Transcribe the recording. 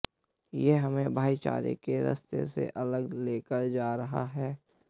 ये हमें भाईचारे के रास्ते से अलग लेकर जा रहा है